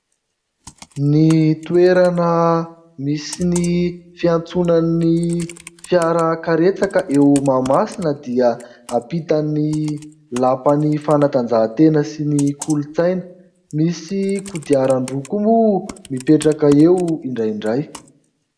Ny toerana misy ny fiantsonan'ny fiarakaretsaka eo Mahamasina dia ampitan'ny lapan'ny fanatanjahantena sy ny kolontsaina. Misy kodiaran-droa koa moa mipetraka eo indraindray.